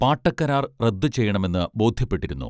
പാട്ടക്കരാർ റദ്ദുചെയ്യണമെന്ന് ബോധ്യപ്പെട്ടിരുന്നു